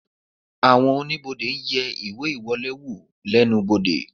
Àwọn oníbodè ń yẹ ìwé ìwọlé wò oníbodè